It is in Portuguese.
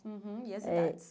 Uhum E as idades.